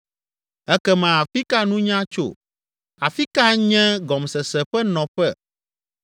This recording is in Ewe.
“Ekema afi ka nunya tso? Afi ka nye gɔmesese ƒe nɔƒe?